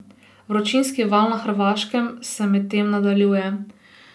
Vročinski val na Hrvaškem se medtem nadaljuje.